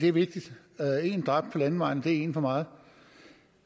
er vigtigt en dræbt på landevejen er en for meget